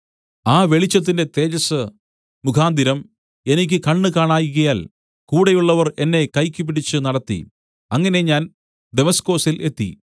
ആ വെളിച്ചത്തിന്റെ തേജസ്സ് മുഖാന്തരം എനിക്ക് കണ്ണ് കാണായ്കയാൽ കൂടെയുള്ളവർ എന്നെ കൈയ്ക്കുപിടിച്ചു നടത്തി അങ്ങനെ ഞാൻ ദമസ്കൊസിൽ എത്തി